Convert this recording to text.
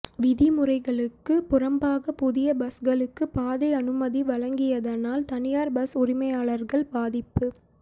விதி முறைகளுக்கு புறம்பாக புதிய பஸ்களுக்கு பாதை அனுமதி வழங்கியதனால் தனியார் பஸ் உரிமையாளர்கள் பாதிப்பு